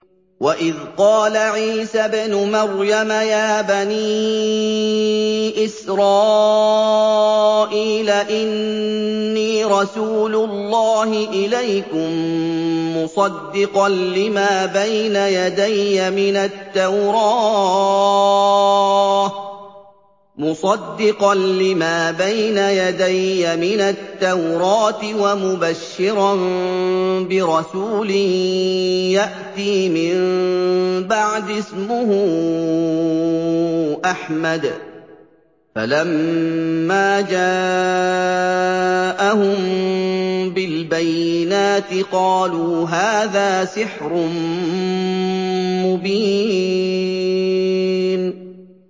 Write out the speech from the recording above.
وَإِذْ قَالَ عِيسَى ابْنُ مَرْيَمَ يَا بَنِي إِسْرَائِيلَ إِنِّي رَسُولُ اللَّهِ إِلَيْكُم مُّصَدِّقًا لِّمَا بَيْنَ يَدَيَّ مِنَ التَّوْرَاةِ وَمُبَشِّرًا بِرَسُولٍ يَأْتِي مِن بَعْدِي اسْمُهُ أَحْمَدُ ۖ فَلَمَّا جَاءَهُم بِالْبَيِّنَاتِ قَالُوا هَٰذَا سِحْرٌ مُّبِينٌ